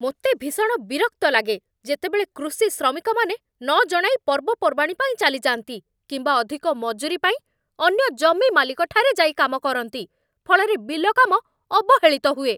ମୋତେ ଭୀଷଣ ବିରକ୍ତ ଲାଗେ ଯେତେବେଳେ କୃଷି ଶ୍ରମିକମାନେ ନ ଜଣାଇ ପର୍ବପର୍ବାଣୀ ପାଇଁ ଚାଲିଯାଆନ୍ତି, କିମ୍ବା ଅଧିକ ମଜୁରୀ ପାଇଁ ଅନ୍ୟ ଜମି ମାଲିକଠାରେ ଯାଇ କାମ କରନ୍ତି। ଫଳରେ ବିଲ କାମ ଅବହେଳିତ ହୁଏ।